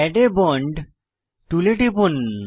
add a bond টুলে টিপুন